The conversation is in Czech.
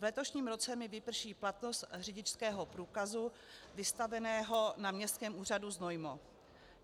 V letošním roce mi vyprší platnost řidičského průkazu vystaveného na Městském úřadu Znojmo.